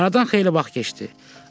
Aradan xeyli vaxt keçdi.